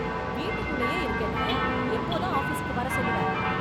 வீட்டுக்குள்ளேயே இருக்கேனே எப்போதான் ஆபீசுக்கு வர சொல்லுவ?